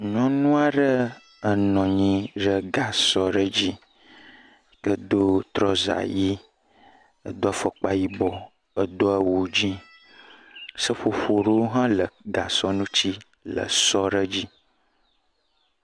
Nyɔnu aɖe enɔ anyi ɖe gasɔ aɖe dzi. Edo trɔsa ʋi, edo fɔkpa yibɔ, edo awu dzi. Seƒoƒo aɖewo hã le gasɔ ŋuti le sɔ aɖe dzi.